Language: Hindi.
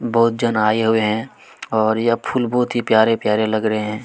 बहुत जन आए हुए है और यह फूल बहुत ही प्यारे -प्यारे लग रहे हैं।